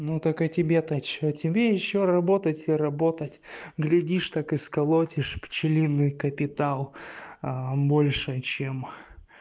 ну так а тебе-то что тебе ещё работать и работать глядишь так и сколотишь пчелиный капитал а больше чем